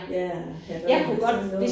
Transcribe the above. Ja i hvert fald sådan noget